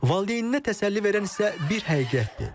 Valideyninə təsəlli verən isə bir həqiqətdir.